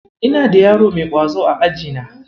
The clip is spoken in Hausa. Ina da yaro mai ƙwazo a ajina.